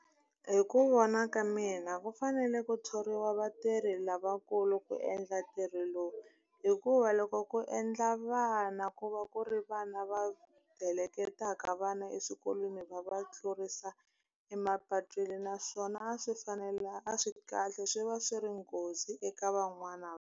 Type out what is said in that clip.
Hi ku vona ka mina ku fanele ku thoriwa vatirhi lavakulu ku endla ntirho lowu hikuva loko ku endla vana ku va ku ri vana va heleketaka vana eswikolweni va va tlurisa emapatwini naswona a swi fanele a swi kahle swi va swi ri nghozi eka van'wana.